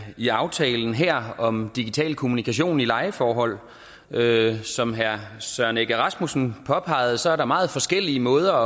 i aftalen her om digital kommunikation i lejeforhold som herre søren egge rasmussen påpegede er der meget forskellige måder